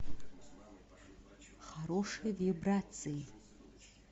хорошие вибрации